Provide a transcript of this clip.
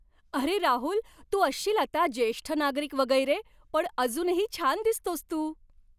अरे राहुल, तू असशील आता ज्येष्ठ नागरिक वगैरे, पण अजूनही छान दिसतोस तू.